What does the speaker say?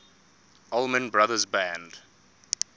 allman brothers band